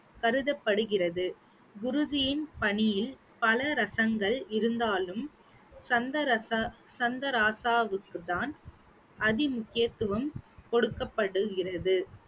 கருதப்படுகிறது குருஜியின் பணியில் பல ரசங்கள் இருந்தாலும் சந்தரச~ சந்த ராசாவுக்கு தான் அதிமுக்கியத்துவம் கொடுக்கப்படுகிறது